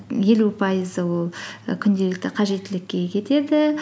елу пайызы ол і күнделікті қажеттілікке кетеді